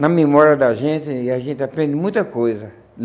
na memória da gente, e a gente aprende muita coisa.